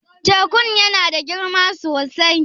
Tekun ya na da girma sosai?